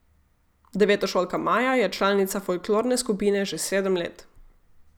Devetošolka Maja je članica folklorne skupine že sedem let.